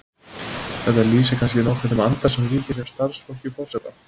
Þetta lýsir kannski nokkuð þeim anda sem ríkir hjá starfsfólki forseta.